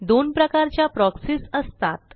दोन प्रकारच्या प्रॉक्सीज असतात